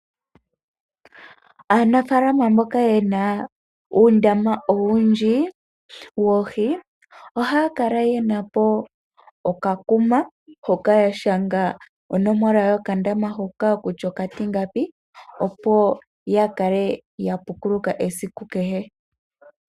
Aanafaalama mboka yena uundama owundji woohi ohaakala yenapo oka kuma hoka yashaga onomola yoka ndama hoka kutya okatingapi opo yakale yapukuluka esiku kehe.